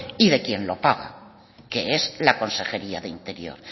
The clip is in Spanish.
y de quien lo paga que es la consejería de interior